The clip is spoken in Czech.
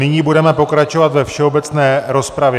Nyní budeme pokračovat ve všeobecné rozpravě.